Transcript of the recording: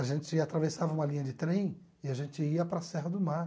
A gente atravessava uma linha de trem e a gente ia para a Serra do Mar.